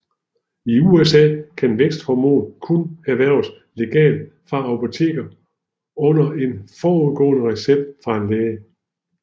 I USA kan væksthormon kun erhverves legalt fra apoteker under en forudgående recept fra en læge